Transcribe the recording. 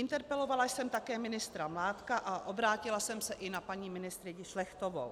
Interpelovala jsem také ministra Mládka a obrátila jsem se i na paní ministryni Šlechtovou.